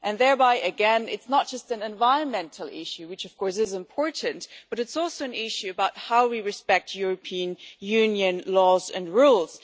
Thereby, it is not just an environmental issue, which of course is important, but it is also an issue of how we respect European Union laws and rules.